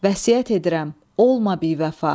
Vəsiyyət edirəm, olma bivəfa.